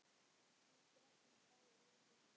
Þið drekkið báðir of mikið.